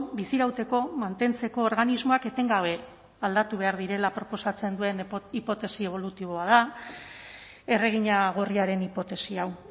bizirauteko mantentzeko organismoak etengabe aldatu behar direla proposatzen duen hipotesi ebolutiboa da erregina gorriaren hipotesi hau